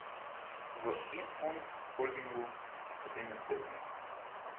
V Infond Holdingu se s tem ne strinjajo.